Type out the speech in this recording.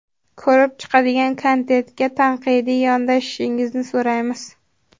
Ko‘rib chiqadigan kontentga tanqidiy yondashishingizni so‘raymiz.